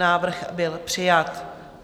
Návrh byl přijat.